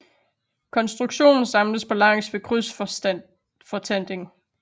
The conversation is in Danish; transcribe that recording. Konstruktionen samles på langs ved krydsfortanding